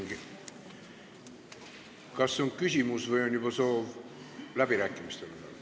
Henn Põlluaas, kas teil on küsimus või on see juba soov läbirääkimisteks?